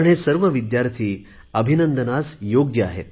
हे सर्व विद्यार्थी अभिनंदनाला योग्य आहेत